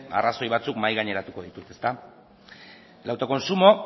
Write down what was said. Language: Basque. arrazoia batzuk mahaigaineratuko ditut el autoconsumo